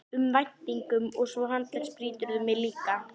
um væntingum og svo handleggsbrýturðu mig líka.